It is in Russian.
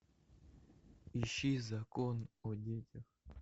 ищи закон о детях